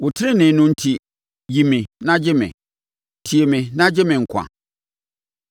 Wo tenenee no enti, yi me na gye me; tie me na gye me nkwa.